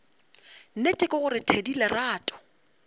nnete ke gore thedi lerato